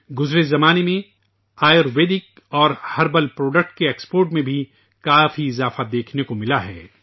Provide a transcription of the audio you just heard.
ماضی میں ، آیورویدک اور جڑی بوٹیوں کی مصنوعات کی برآمد میں نمایاں اضافہ دیکھنے کو ملا ہے